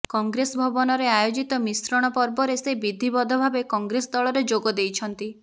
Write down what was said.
କଂଗ୍ରେସ ଭବନରେ ଆୟୋଜିତ ମିଶ୍ରଣ ପର୍ବରେ ସେ ବିଧିବଦ୍ଧ ଭାବେ କଂଗ୍ରେସ ଦଳରେ ଯୋଗଦେଇଛନ୍ତି